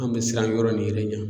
An bɛ siran yɔrɔ nin yɛrɛ ɲa.